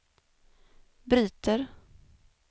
bryter